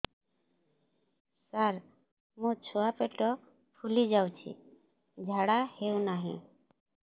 ସାର ମୋ ଛୁଆ ପେଟ ଫୁଲି ଯାଉଛି ଝାଡ଼ା ହେଉନାହିଁ